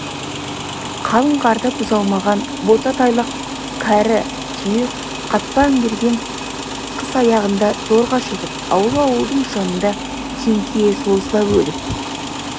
қалың қарды бұза алмаған бота-тайлақ кәрі түйе қатпа іңгендер қыс аяғына зорға жетіп ауыл-ауылдың жанында теңкие созылып өліп